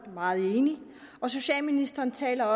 er meget enig og socialministeren taler